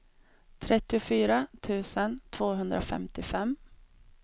trettiofyra tusen tvåhundrafemtiofem